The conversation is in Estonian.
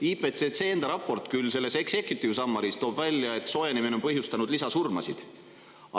IPCC raport toob executive summary osas välja, et soojenemine on põhjustanud lisasurmasid.